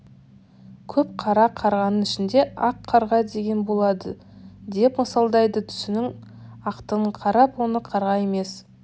көп қара қарғаның ішінде ақ қарға деген болады деп мысалдайды түсінің ақтығына қарап оны қарға емес